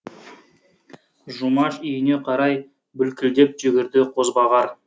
жұмаш үйіне қарай бүлкілдеп жүгірді қозбағар